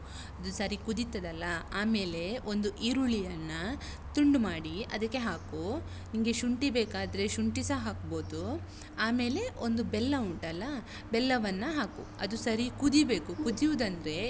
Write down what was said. ಅದು ಸರಿ ಕುದೀತದಲ್ಲ ಆಮೇಲೆ ಒಂದು ಈರುಳ್ಳಿಯನ್ನ ತುಂಡು ಮಾಡಿ ಅದಕ್ಕೆ ಹಾಕು, ನಿಂಗೆ ಶುಂಠಿ ಬೇಕಾದ್ರೆ ಶುಂಠಿಸ ಹಾಕ್ಬೋದು. ಆಮೇಲೆ ಒಂದು ಬೆಲ್ಲ ಉಂಟಲ್ಲ ಬೆಲ್ಲವನ್ನ ಹಾಕು. ಅದು ಸರೀ ಕುದೀಬೇಕು. ಕುದಿಯುವುದಂದ್ರೆ.